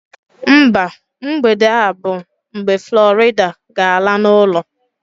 Mba, mgbede a bụ mgbe Florida ga-ala n'ụlọ